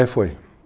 É, foi.